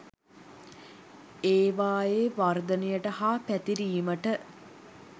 ඒවායේ වර්ධනයට හා පැතිරීමට